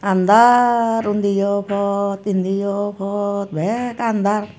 andar undiyo por indiyo por bek andar.